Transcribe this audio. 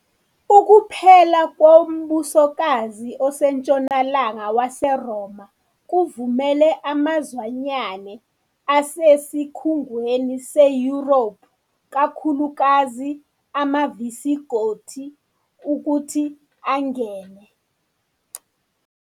ukuPhela kwoMbusokazi oseNtshonalanga waseRoma kuvumele amazwanyane asesikhungweni seYuropu kakhulukazi amaVisigothi ukuthi angene.